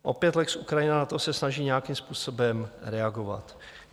Opět lex Ukrajina se na to snaží nějakým způsobem reagovat.